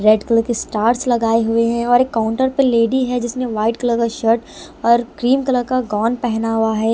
Red colour के stars लगाए हुए हैं और एक काउंटर पर लेडी है जिसने वाइट कलर का शर्ट और क्रीम कलर का गॉन पहना हुआ है।